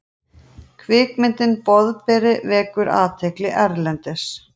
Kvikmyndin Boðberi vekur athygli erlendis